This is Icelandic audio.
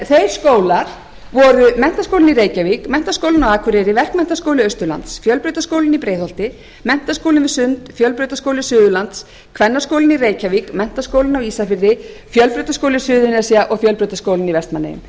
hendur þeir skólar voru menntaskólinn í reykjavík menntaskólinn á akureyri verkmenntaskóli austurlands fjölbrautaskólinn í breiðholti menntaskólinn við sund fjölbrautaskóli suðurlands kvennaskólinn í reykjavík menntaskólinn á ísafirði fjölbrautaskóli suðurnesja og fjölbrautaskólinn í vestmannaeyjum